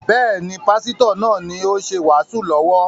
Bẹ́ẹ̀ni, Pásítọ̀ náà ni ó ṣe wàásù lọ́wọ́